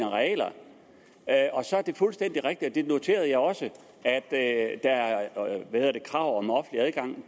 arealer det er fuldstændig rigtigt og det noterede jeg også at der er krav om offentlig adgang